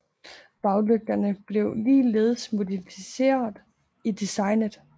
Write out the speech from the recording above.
Baglygterne blev ligeledes modificeret i designet